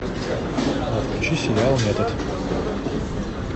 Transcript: включи сериал метод